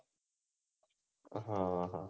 અહોહ